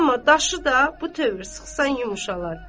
Amma daşı da bu tövr sıxsan yumşalar.